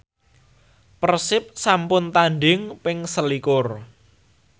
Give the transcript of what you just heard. Persib sampun tandhing ping selikur